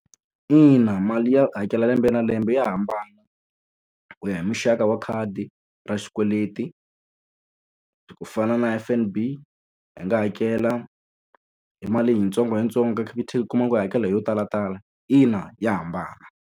Ina mali ya hakela lembe na lembe ya hambana ku ya hi muxaka wa khadi ra xikweleti. Ku fana na F_N_B i nga hakela hi mali yitsongo hi yitsongo, ka Capitec u kuma ku u yi hakela yo talatala. Ina ya hambana.